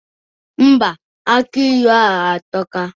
Ḿbà, aki ilu ahụ atọka